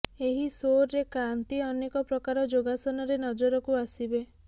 ଏହି ସୋରେ କ୍ରାନ୍ତି ଅନେକ ପ୍ରକାର ଯୋଗାସନରେ ନଜରକୁ ଆସିବେ